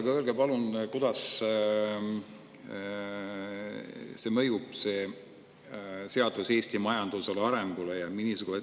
Aga öelge palun, kuidas mõjub see seadus Eesti majanduse arengule.